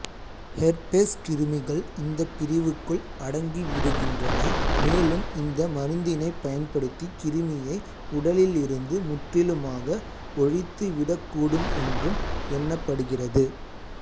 herpes கிருமிகள் இந்தப் பிரிவுக்குள் அடங்கிவிடுகின்றன மேலும் இந்த மருந்தினைப் பயன்படுத்தி கிருமியை உடலிலிருந்து முற்றிலுமாக ஒழித்துவிடக்கூடும் என்றும் எண்ணப்படுகிறது